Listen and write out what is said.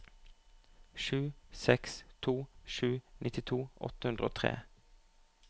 sju seks to sju nittito åtte hundre og tre